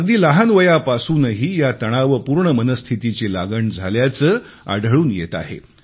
अगदी लहान वयापासूनही या तणावपूर्ण मनस्थितीची लागण झाल्याचे आढळून येत आहे